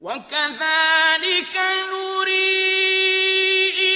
وَكَذَٰلِكَ نُرِي